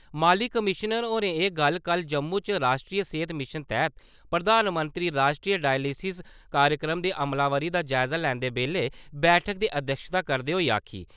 माली कमीश्नर होरें एह् गल्ल कल जम्मू च राश्ट्री सेहत मिशन तैह्त प्रधानमंत्री राश्ट्री डायलिसिस कार्यक्रम दी अमलावरी दा जायजा लैंदे बेल्लै बैठका दी अध्यक्षता करदे होई आक्खी ।